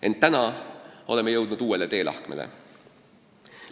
Ent täna oleme jõudnud uuele teelahkmele.